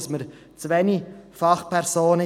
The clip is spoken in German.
Wir haben in diesem Bereich zu wenig Fachpersonen.